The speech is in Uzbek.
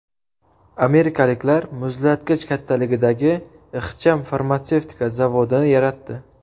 Amerikaliklar muzlatgich kattaligidagi ixcham farmatsevtika zavodini yaratdi.